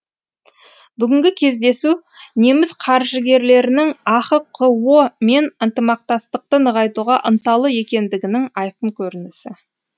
бүгінгі кездесу неміс қаржыгерлерінің ахқо мен ынтымақтастықты нығайтуға ынталы екендігінің айқын көрінісі